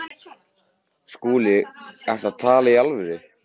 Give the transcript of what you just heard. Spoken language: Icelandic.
SKÚLI: Ertu að tala í alvöru?